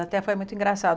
Até foi muito engraçado.